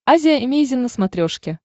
азия эмейзин на смотрешке